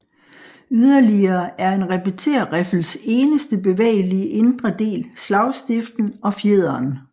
Yderligere er en repetérriffels eneste bevægelige indre del slagstiften og fjederen